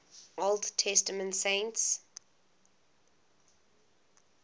old testament saints